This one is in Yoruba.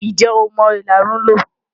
Ǹjẹ́ o mọ ìlarun lò?